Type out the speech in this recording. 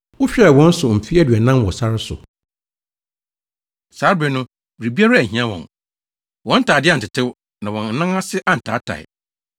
Wohwɛɛ wɔn so mfe aduanan wɔ sare so. Saa bere no, biribiara anhia wɔn. Wɔn ntade antetew, na wɔn anan ase antaatae.